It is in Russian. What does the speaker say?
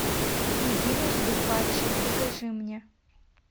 единожды падший покажи мне